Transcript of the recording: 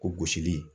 Ko gosili